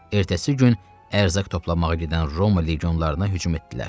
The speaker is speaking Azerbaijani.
Ertəsi gün ərzaq toplamağa gedən Roma legionlarına hücum etdilər.